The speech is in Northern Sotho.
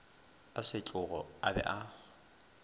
a setlogo a be a